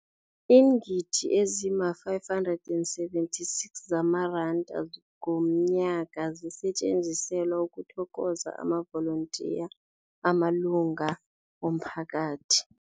Iingidi ezima-576 zamaranda ngomnyaka zisetjenziselwa ukuthokoza amavolontiya amalunga womphakathi.